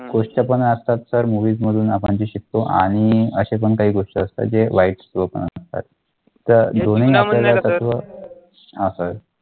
गोष्ट पण असतात sir movies मधून आपण जे शिकतो आणि असे पण काही गोष्टी असतात जे वाईट असतात तर हा sir